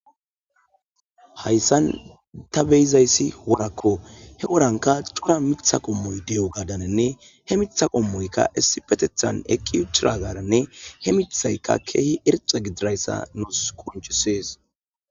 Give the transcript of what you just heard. Haysan ta betizaysi worako , he woranka cora Mitha qomoy diyogadaninne he Mitha qomoyka issipetethan eqi utidigadaninne he mithayka keehi irxa gididaysa nuusi qoncises